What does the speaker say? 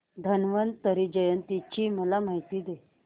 धन्वंतरी जयंती ची मला माहिती दे